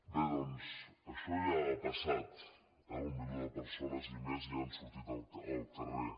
bé doncs això ja ha passat eh el milió de persones i més ja han sortit al carrer